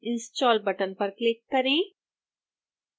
install button पर click करें